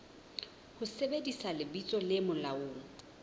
ho sebedisa lebitso le molaong